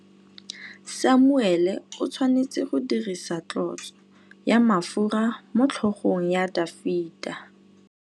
Samuele o tshwanetse go dirisa tlotsô ya mafura motlhôgong ya Dafita.